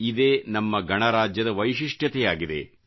ಇದೇ ನಮ್ಮ ಗಣರಾಜ್ಯದ ವೈಶಿಷ್ಟ್ಯತೆಯಾಗಿದೆ